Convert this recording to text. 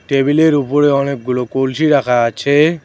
টেবিলের ওপরে অনেকগুলো কলসি রাখা আছে।